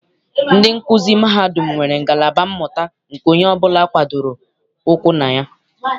Ndị nkuzi mahadum nwere ngalaba mmụta nke onye ọbụla gbadoro ụkwụ na ya.